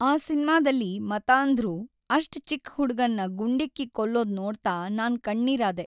ಆ ಸಿನ್ಮಾದಲ್ಲಿ ಮತಾಂಧ್ರು ಅಷ್ಟ್ ಚಿಕ್ ಹುಡ್ಗನ್ನ ಗುಂಡಿಕ್ಕಿ ಕೊಲ್ಲೋದ್ ನೋಡ್ತಾ ನಾನ್‌ ಕಣ್ಣೀರಾದೆ.